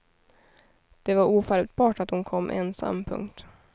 Det var ofattbart att hon kom ensam. punkt